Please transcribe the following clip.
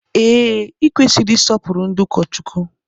Ee, I kwesịrị isọpuru ndị ụkọchukwu.